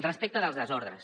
respecte dels desordres